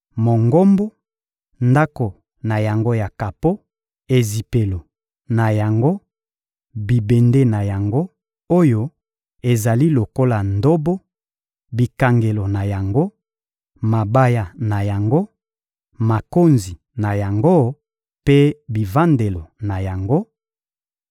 Mongombo, ndako na yango ya kapo, ezipelo na yango, bibende na yango oyo ezali lokola ndobo, bikangelo na yango, mabaya na yango, makonzi na yango mpe bivandelo na yango;